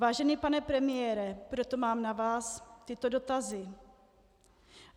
Vážený pane premiére, proto mám na vás tyto dotazy: